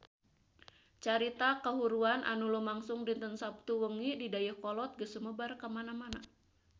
Carita kahuruan anu lumangsung dinten Saptu wengi di Dayeuhkolot geus sumebar kamana-mana